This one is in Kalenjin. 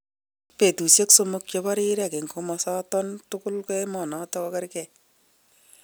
Betushek somok chebo rirek eng komosaton tugul emonoton kokerke.